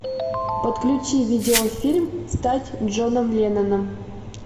подключи видеофильм стать джоном ленноном